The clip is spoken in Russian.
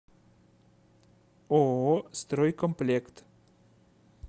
ооо стройкомплект